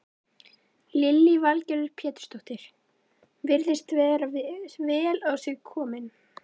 Lillý Valgerður Pétursdóttir: Virðist vera vel á sig kominn?